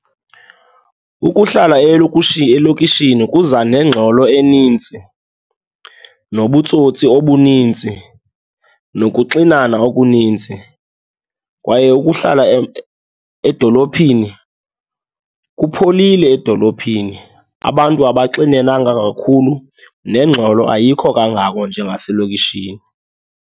Ukuhlala elokishini kuza nengxelo enintsi nobutsotsi obuninzi, nokuxinana okuninzi. Kwaye ukuhlala edolophini, kupholile edolophini, abantu abaxinenanga kakhulu nengxolo ayikho kangako njengaselokishini.